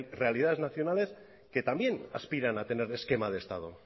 realidades nacionales que también aspiran a tener esquema de estado